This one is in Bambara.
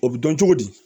O bɛ dɔn cogo di